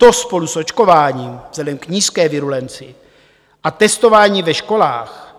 To spolu s očkováním vzhledem k nízké virulenci a testování ve školách